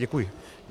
Děkuji.